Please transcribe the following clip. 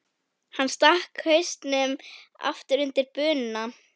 Hann stakk hausnum aftur undir bununa.